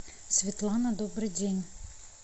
светлана добрый день